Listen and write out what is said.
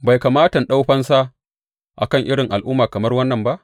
Bai kamata in ɗau fansa a kan irin al’umma kamar wannan ba?